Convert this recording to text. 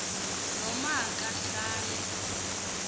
n oma kahlale